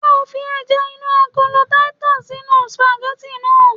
Ṣé o fi ẹja inú agolo titus sínú sìpàgẹ́tì náà?